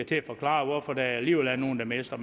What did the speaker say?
til at forklare hvorfor der alligevel er nogle der mister